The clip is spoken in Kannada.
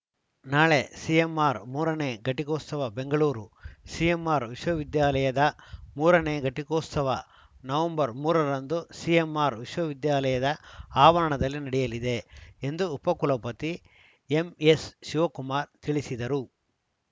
ನಾಳೆ ಸಿಎಂಆರ್‌ ಮೂರ ನೇ ಘಟಿಕೋತ್ಸವ ಬೆಂಗಳೂರು ಸಿಎಂಆರ್‌ ವಿಶ್ವವಿದ್ಯಾಲಯದ ಮೂರನೇ ಘಟಿಕೋತ್ಸವ ನವೆಂಬರ್ ಮೂರ ರಂದು ಸಿಎಂಆರ್‌ ವಿಶ್ವವಿದ್ಯಾಲಯದ ಆವರಣದಲ್ಲಿ ನಡೆಯಲಿದೆ ಎಂದು ಉಪಕುಲಪತಿ ಎಂಎಸ್‌ಶಿವಕುಮಾರ್‌ ತಿಳಿಸಿದರು